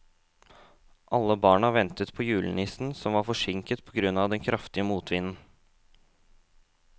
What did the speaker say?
Alle barna ventet på julenissen, som var forsinket på grunn av den kraftige motvinden.